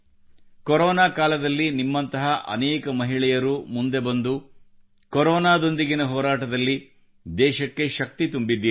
corona ಕಾಲದಲ್ಲಿ ನಿಮ್ಮಂತಹ ಅನೇಕ ಮಹಿಳೆಯರು ಮುಂದೆ ಬಂದು ಕೊರೋನಾದೊಂದಿಗಿನ ಹೋರಾಟದಲ್ಲಿ ದೇಶಕ್ಕೆ ಶಕ್ತಿ ತುಂಬಿದ್ದೀರಿ